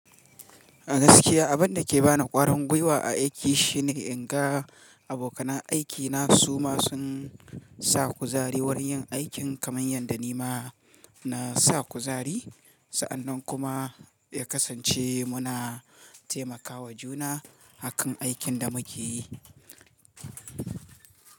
A gaskiya abin da ke ba ni ƙwarin gwiwa a aiki shine in ga abokanan aikina su ma sun sa kuzari wurin yin aikin kamar yadda ni ma na sa kuzari. Sa'annan kuma ya kasance muna taimakawa juna akan aikin da muke yi.